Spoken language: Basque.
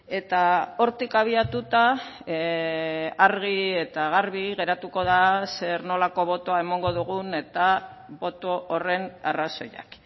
eta hortik abiatuta argi eta garbi geratuko da zer nolako botoa emango dugun eta boto horren arrazoiak